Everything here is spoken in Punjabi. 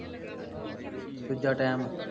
ਦੂਜਾ time